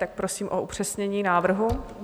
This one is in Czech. Tak prosím o upřesnění návrhu.